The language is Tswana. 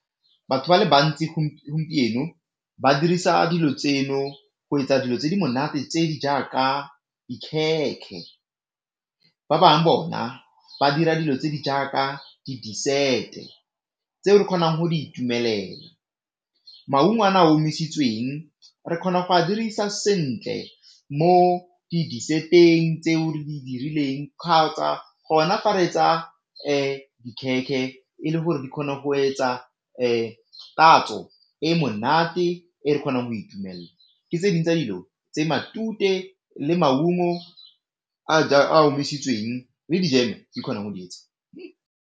Batho ba le bantsi gompieno ba dirisa dilo tseno go etsa dilo tse di monate tse di jaaka ba bangwe bona ba dira dilo tse di jaaka di dessert-eng tseo re kgonang go di itumelela. Maungo a a omisitsweng re kgona go a dirisa sentle mo dessert-eng tse o re di dirileng gona fa re tsaya e le gore di kgone go etsa tatso e monate e kgonang go itumelela, ke tse dingwe tsa dilo tse matute le maungo a a omisitsweng re di kgona go di etsa.